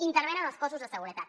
intervenen els cossos de seguretat